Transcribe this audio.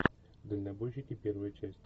дальнобойщики первая часть